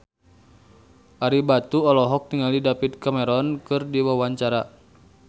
Ario Batu olohok ningali David Cameron keur diwawancara